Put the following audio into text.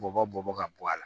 Bɔbɔ bɔ ka bɔ a la